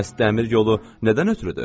Bəs dəmir yolu nədən ötrüdür?